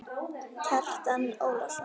Kjartan Ólason